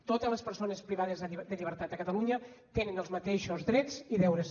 totes les persones privades de llibertat a catalunya tenen els mateixos drets i deures